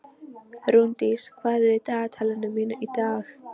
Rúndís, hvað er í dagatalinu mínu í dag?